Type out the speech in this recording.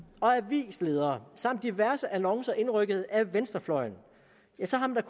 avisledere samt diverse annoncer indrykket af venstrefløjen ja så har man